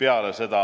Peale seda